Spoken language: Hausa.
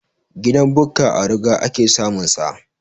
Gidan Bukka a ruga ake samun sa